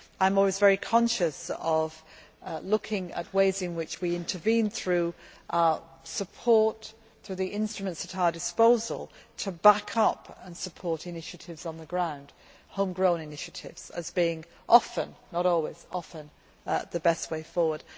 I am always very conscious of looking at ways in which we intervene, through our support and through the instruments at our disposal, to back up and support initiatives on the ground home grown initiatives as being often but not always the best way forward.